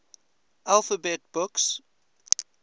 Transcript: alphabet books